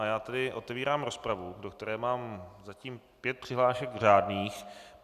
A já tedy otevírám rozpravu, do které mám zatím pět přihlášek řádných.